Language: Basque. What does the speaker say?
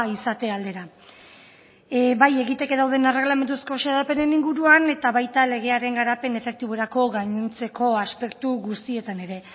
izate aldera bai egiteke daude erregalamenduzko xedapenen inguruan eta baita legearen garapen efektiborako gainontzeko aspektu guztietan ere